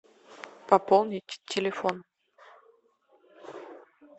пополнить телефон